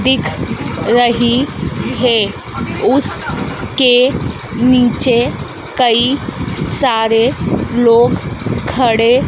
दिख रही है उस के नीचे कई सारे लोग खड़े--